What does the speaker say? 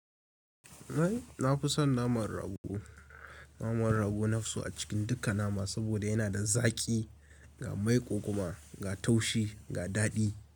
Ai na fi son naman rago. Naman rago na fi so a cikin duka nama saboda yana da zaƙi, ga maiƙo kuma ga taushi ga daɗi.